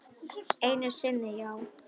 Einu sinni já.